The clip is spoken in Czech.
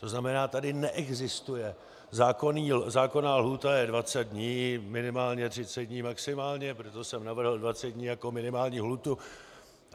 To znamená, tady neexistuje - zákonná lhůta je 20 dní minimálně, 30 dní maximálně, proto jsem navrhl 20 dní jako minimální lhůtu.